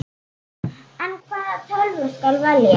En hvaða tölvu skal velja?